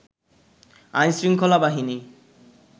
আইনশৃঙ্খলা বাহিনী